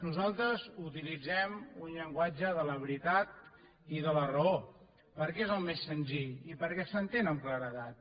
nosaltres utilitzem un llenguatge de la veritat i de la raó perquè és el més senzill i perquè s’entén amb claredat